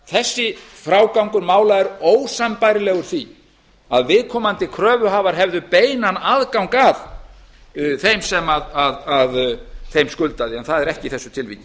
þessi frágangur mála er ósambærilegur því að viðkomandi kröfuhafar hefðu beinan aðgang að þeim sem skuldaði en það er ekki í þessu tilviki